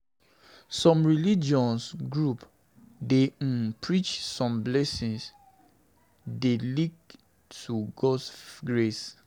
Some Some religious groups dey um preach sey blessing dey linked to Gods grace